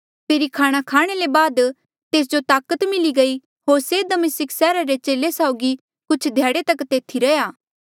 फेरी खाणा खाणे ले बाद तेस जो ताकत मिली गयी होर से दमिस्का सैहरा रे चेले साउगी कुछ ध्याड़े तक तेथी रैंहयां